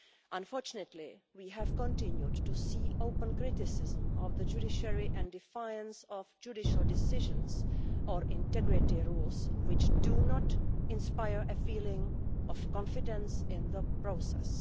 Unfortunately, we have continued to see open criticism of the judiciary and defiance of judicial decisions or integrity rules, which do not inspire a feeling of confidence in the process.